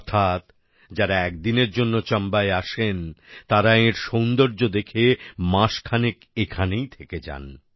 অর্থাৎ যারা একদিনের জন্য চাম্বায় আসেন তারা এঁর সৌন্দর্য দেখে মাসখানেক এখানেই থেকে যান